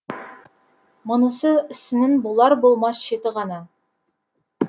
мұнысы ісінің болар болмас шеті ғана